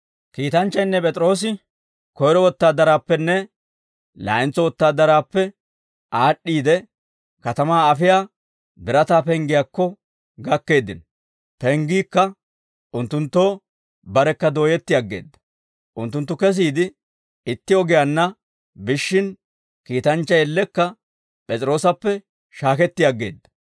Kiitanchchaynne P'es'iroosi koyro wotaadaraappenne laa'entso wotaadaraappe aad'd'iide, katamaa afiyaa birataa penggiyaakko gakkeeddino; penggiikka unttunttoo barekka dooyetti aggeedda; unttunttu kesiide itti ogiyaanna biishshin, kiitanchchay ellekka P'es'iroosappe shaaketti aggeedda.